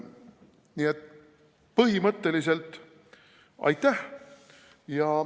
Nii et põhimõtteliselt aitäh.